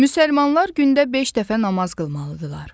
Müsəlmanlar gündə beş dəfə namaz qılmalıdırlar.